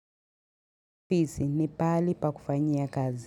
Ofisi, ni pahali pa kufanyia kazi.